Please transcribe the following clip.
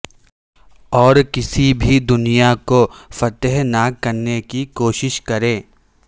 اور کسی بھی دنیا کو فتح نہ کرنے کی کوشش کریں